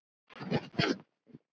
Ég þakka móður minni allt.